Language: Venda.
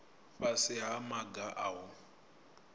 fhasi ha maga a u